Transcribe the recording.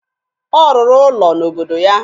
Ọ rụrụ ụlọ n'obodo ya